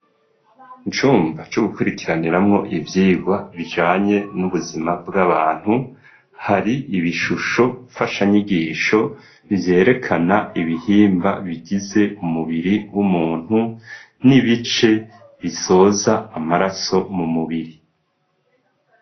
Icumba co gukurikiraniramwo ibyigwa bijanye n'ubuzima bw'abantu hari ibishusho fasha nyigisho byerekana ibihimba bigize umubiri w'umuntu n'ibice bisoza amaraso mu mubiri.